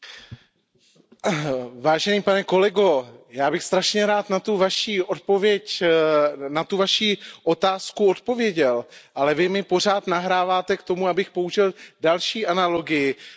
Vážený pane kolego, já bych strašně rád na tu Vaši otázku odpověděl, ale Vy mi pořád nahráváte k tomu, abych použil další analogii s britským humorem.